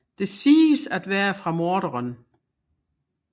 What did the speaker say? Det siges at være fra morderen